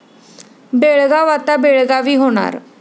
बेळगाव' आता 'बेळगावी' होणार